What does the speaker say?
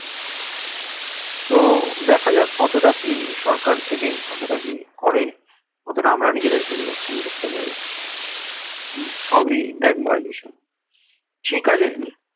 তো দেখা যাক কতটা কি সরকার থেকে কত টা কি করে কত টা আমরা নিজেদের পরিবর্তন করতে পারি সবই দেখ বায়ু দূষণ ঠিক আছে